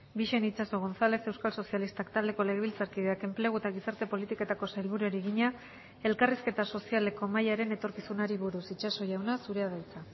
bixen itxaso gonzález euskal sozialistak taldeko legebiltzarkideak enplegu eta gizarte politiketako sailburuari egina elkarrizketa sozialeko mahaiaren etorkizunari buruz itxaso jauna zurea da hitza